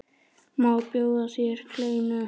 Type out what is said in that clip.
Má bjóða þér kleinu?